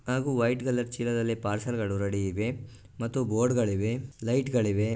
ಹಾಗು white colour ಚೀಲದಲ್ಲಿ ಪಾರ್ಸೆಲ್ಗಳು ರೆಡಿ ಇವೆ ಮತ್ತು ಬೋರ್ಡುಗಳಿವೆ ಮತ್ತು ಲೈಟ್ಗಳಿವೆ--